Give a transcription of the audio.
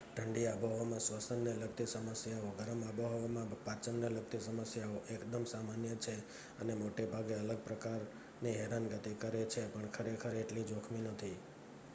ઠંડી આબોહવામાં સ્વસન ને લગતી સમસ્યાઓ ગરમ આબોહવામાં પાચનને લગતી સમસ્યાઓ એકદમ સામાન્ય છે અને મોટાભાગે અલગ પ્રકારની હેરાનગતિ કરે છે પણ ખરેખર એટલી જોખમી નથી